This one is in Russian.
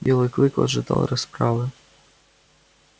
белый клык ожидал расправы